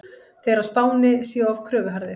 Þeir á Spáni séu of kröfuharðir.